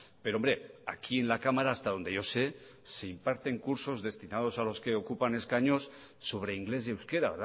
pero hombre aquí en la cámara hasta donde yo sé se imparten cursos destinados a los que ocupan escaños sobre inglés y euskera